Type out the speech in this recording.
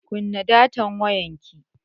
Kunna datan wayanki.